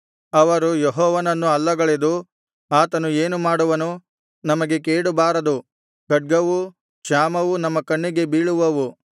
ಅವರು ಯೆಹೋವನನ್ನು ಅಲ್ಲಗಳೆದು ಆತನು ಏನು ಮಾಡುವನು ನಮಗೆ ಕೇಡುಬಾರದು ಖಡ್ಗವೂ ಕ್ಷಾಮವೂ ನಮ್ಮ ಕಣ್ಣಿಗೆ ಬೀಳವು